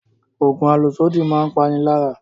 Oògùn àlòsódì máa ń pani lára